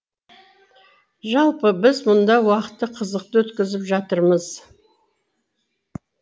жалпы біз мұнда уақытты қызықты өткізіп жатырмыз